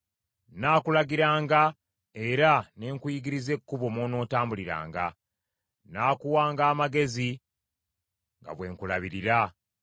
Nnaakulagiranga era ne nkuyigiriza ekkubo mw’onootambuliranga; nnaakuwanga amagezi nga bwe nkulabirira.